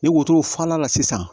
Ni wotoro fala la sisan